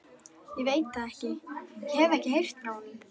Ég veit það ekki, ég hef ekkert heyrt frá honum.